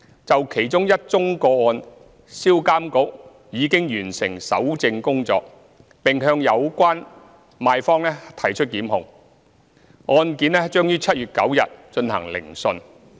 就其中一宗個案，銷監局已完成搜證工作，並向有關賣方提出檢控，案件將於2019年7月9日進行聆訊。